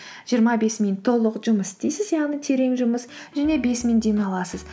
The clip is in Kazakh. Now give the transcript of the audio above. жиырма бес минут толық жұмыс істейсіз яғни терең жұмыс және бес минут демаласыз